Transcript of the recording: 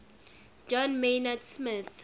john maynard smith